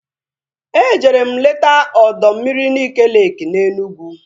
Ejere m leta ọdọ mmiri Nike leeki na Enugwu